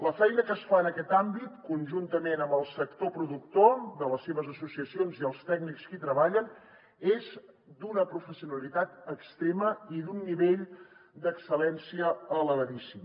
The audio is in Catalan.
la feina que es fa en aquest àmbit conjuntament amb el sector productor amb les seves associacions i els tècnics que hi treballen és d’una professionalitat extrema i d’un nivell d’excel·lència elevadíssim